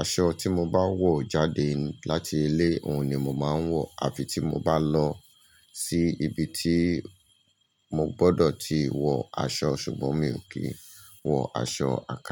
Aṣọ tí mo bá wọ̀ jáde láti ilé, òun ni mo máa ń wọ̀, àfi tí mo bá lọ sí ibi tí mo gbọdọ̀ ti wọ aṣọ, ṣùgbọ́n mi ò kí ń wọ aṣọ àka.